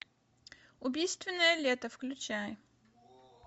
убийственное лето включай